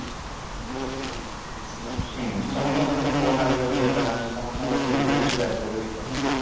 ହୁଁ ସମସ୍ତଙ୍କ ପାଖରେ phone available ହେଇପାରିଲାଣି ସମସ୍ତଙ୍କ ପାଖରେ internet ବି available ହେଇପାରୁଛି